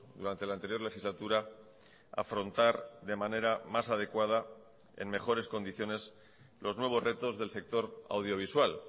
durante la anterior legislatura afrontar de manera más adecuada en mejores condiciones los nuevos retos del sector audiovisual